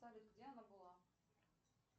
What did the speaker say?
салют где она была